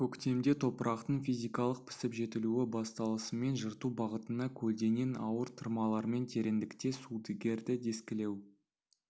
көктемде топырақтың физикалық пісіп-жетілуі басталысымен жырту бағытына көлденең ауыр тырмалармен тереңдікте сүдігерді дискілеу